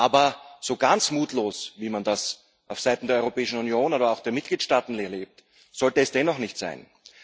Aber so ganz mutlos, wie man das auf Seiten der Europäischen Union oder auch der Mitgliedstaaten erlebt, sollte es dennoch nicht sein.